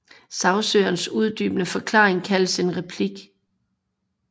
Sagsøgerens uddybende forklaringer kaldes en replik